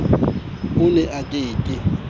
o ne a ke ke